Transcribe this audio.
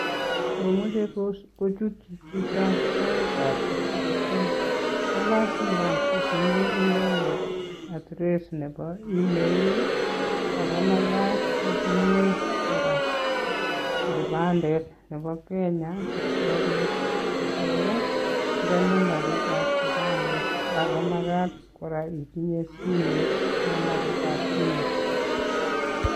Mamechee kochut Chito soeeet kolasima kotinye inendeet kipandeeet sigopiit kotinye kora. namabrit ap simet